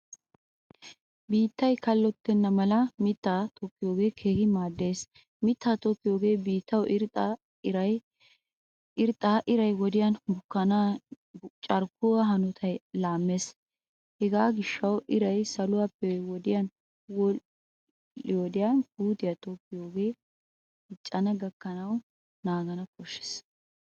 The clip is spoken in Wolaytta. Biittaa kallotennamalamiittaa tokkiyoge keehin maaddees. Miittaa tokkiyogee biittawu irxxa, irray wodiyan bukkanawu carkkuwaa hanotta lammees. Hegaa gishshawu irray saluwappe wodhdhiyo wodiyan puutiyaa tokkiyowodiyan diccana gakkanawu naagaana koshshees.